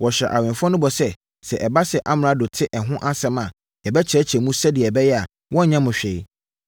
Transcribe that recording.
Wɔhyɛɛ awɛmfoɔ no bɔ sɛ, “Sɛ ɛba sɛ amrado te ɛho asɛm a, yɛbɛkyerɛkyerɛ no mu sɛdeɛ ɛbɛyɛ a, ɔrenyɛ mo hwee.”